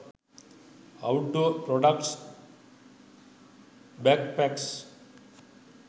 outdoor products backpacks